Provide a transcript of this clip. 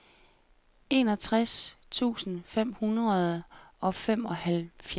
enogtres tusind fem hundrede og femoghalvfjerds